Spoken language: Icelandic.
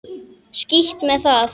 Skítt með það.